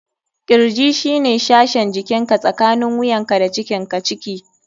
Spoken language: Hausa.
Kirji shine sashin jikinka tsakanin wuyanka da cikinka (ciki).